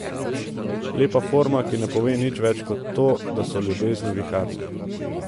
Lepa forma, ki ne pove nič več kot to, da so ljubezni viharne.